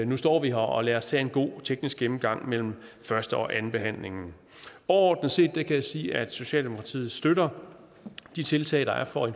nu står vi her og lad os tage en god teknisk gennemgang mellem første og andenbehandlingen overordnet set kan jeg sige at socialdemokratiet støtter de tiltag der er for at